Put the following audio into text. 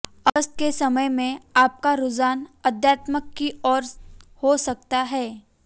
अगस्त के समय में आपका रुझान अध्यात्म की ओर हो सकता है